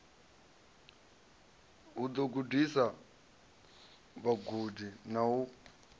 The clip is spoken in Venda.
ḓo gudisa vhagudi na u